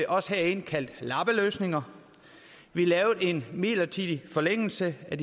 også herinde kaldte lappeløsninger vi lavede en midlertidig forlængelse af